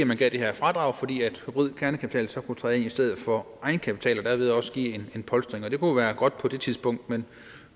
man gav det her fradrag fordi hybrid kernekapital så kunne træde ind i stedet for egenkapital og derved også give en polstring og det kunne jo være godt på det tidspunkt men